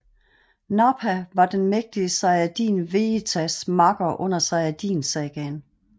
Nappa var den mægtige sayajin Vejitas makker under Sayajin Sagaen